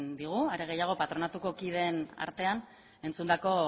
digu are gehiago patronatuko kideen artean entzundako